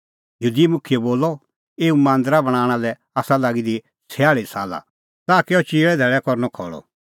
यहूदी मुखियै बोलअ एऊ मांदरा बणांणा लै आसा लागी दी छयाल़ी साला ताह कै अह चिऐ धैल़ै लै करनअ खल़अ